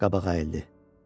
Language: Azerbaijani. Qabağa əyildi.